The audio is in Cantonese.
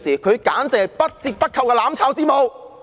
她簡直是不折不扣的"攬炒之母"。